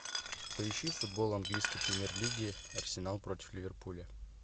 поищи футбол английской премьер лиги арсенал против ливерпуля